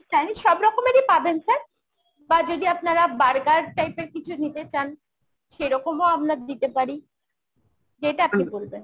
Chinese সবরকমই পাবেন sir। বা যদি আপনারা burger type এর কিছু নিতে চান সেরকমও আমরা দিতে পারি। যেটা আপনি বলবেন ।